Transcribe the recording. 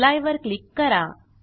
apply वर click करा